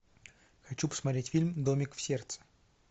хочу посмотреть фильм домик в сердце